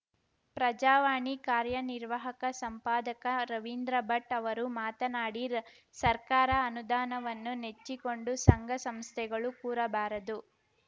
ಪ್ರಜಾವಾಣಿ ಕಾರ್ಯನಿರ್ವಾಹಕ ಸಂಪಾದಕ ರವಿಂದ್ರ ಭಟ್‌ ಅವರು ಮಾತನಾಡಿ ಸರ್ಕಾರ ಅನುದಾನವನ್ನು ನೆಚ್ಚಿಕೊಂಡು ಸಂಘ ಸಂಸ್ಥೆಗಳು ಕೂರಬಾರದು